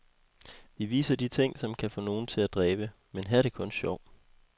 Vi viser de ting, som kan få nogen til at dræbe, men her er det kun sjov.